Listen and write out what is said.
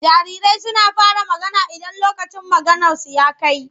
Jarirai suna fara magana idan lokacin maganarsu ya kai.